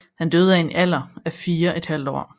Han døde i en alder af 4½ år